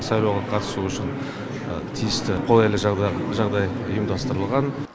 сайлауға қатысу үшін тиісті қолайлы жағдай ұйымдастырылған